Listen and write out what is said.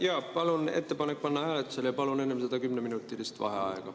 Jaa, palun ettepanek panna hääletusele ja palun enne seda 10-minutilist vaheaega.